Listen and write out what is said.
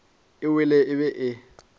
e wele e be e